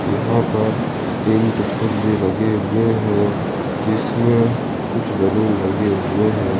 यहां पर तीन टुकटुक भी लगे हुए हैं जिसमें कुछ बैलून लगे हुए हैं।